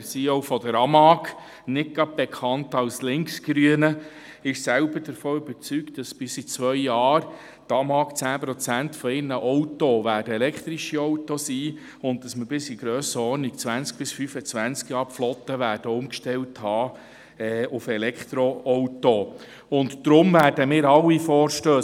Herr Hannesbo, der CEO der AMAG, nicht gerade als Linksgrüner bekannt, ist selbst überzeugt, dass bis in zwei Jahren 10–20 Prozent der verkauften Autos der AMAG Elektroautos sein werden und dass wir bis in 20–25 Jahren die Flotten auf Elektroautos umgestellt haben werden.